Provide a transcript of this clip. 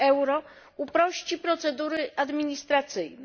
euro uprości procedury administracyjne.